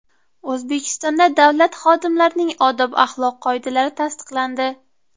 O‘zbekistonda davlat xodimlarining odob-axloq qoidalari tasdiqlandi.